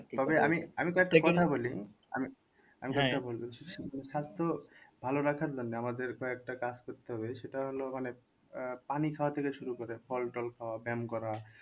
স্বাস্থ্য ভালো রাখার জন্য আমাদের কয়েকটা কাজ করতে হবে সেটা হল মানে আহ পানি খাওয়া থেকে শুরু করে ফল টল খাওয়া ব্যাম করা,